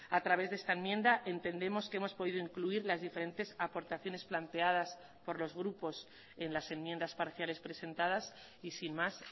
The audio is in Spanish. a través de esta enmienda entendemos que hemos podido incluir las diferentes aportaciones planteadas por los grupos en las enmiendas parciales presentadas y sin más